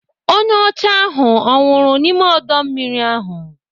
Onye ọcha ahụ ọ nwụrụ n'ime ọdọ mmiri ahụ?